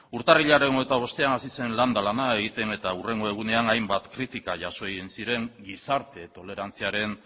urtarrilaren hogeita bostean hasi zen landa lana egiten eta hurrengo egunean hainbat kritika jaso egin ziren gizarte tolerantziaren